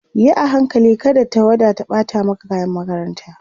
Yi a hankali kada tawada ta ɓata maka kayan makaranta